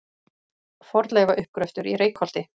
Fornleifauppgröftur í Reykholti.